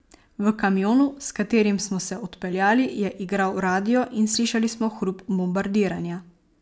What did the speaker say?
V kamionu, s katerim smo se odpeljali, je igral radio in slišali smo hrup bombardiranja.